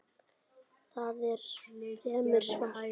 Það er fremur svalt.